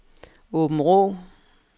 Åbenrå